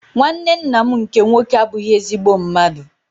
Nwanne ńnà m nke nwoke abughi ezigbo mmadụ.